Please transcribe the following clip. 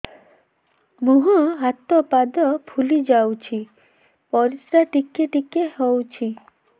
ମୁହଁ ହାତ ପାଦ ଫୁଲି ଯାଉଛି ପରିସ୍ରା ଟିକେ ଟିକେ ହଉଛି